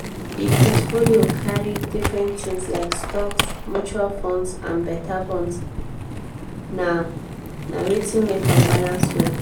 di portfolio carry different tins like stocks mutual funds and beta bonds na na watin make am balance well